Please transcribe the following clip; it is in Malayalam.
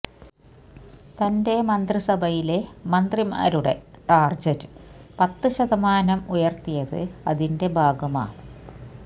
തന്റെ മന്ത്രിസഭയിലെ മന്ത്രിമാരുടെ ടാർജറ്റ് പത്ത് ശതമാനം ഉയർത്തിയത് അതിന്റെ ഭാഗമാ